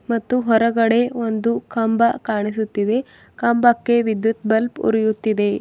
ಮತ್ತು ಹೊರಗಡೆ ಒಂದು ಕಂಬ ಕಾಣಿಸುತ್ತಿವೆ ಕಂಬಕ್ಕೆ ವಿದ್ಯುತ್ ಬಲ್ಬ್ ಉರಿಯುತ್ತಿದೆ.